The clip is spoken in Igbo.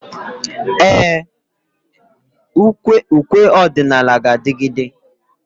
Ee, ukwe ọdịnala ga-adigide.